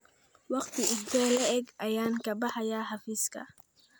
Waqti intee le'eg ayaan ka baxayaa xafiiska?